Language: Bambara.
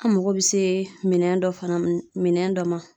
An mago bɛ se minɛn dɔ fana ,minɛn dɔ ma.